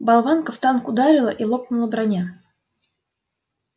болванка в танк ударила и лопнула броня